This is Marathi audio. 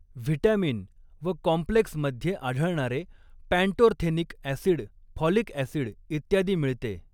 व्हिटॅमिन व कॉम्प्लेक्स मध्ये आढळणारे पॅन्टोर्थेनिक ऍसिड फॉलिक ऍसिड इत्यादी मिळते.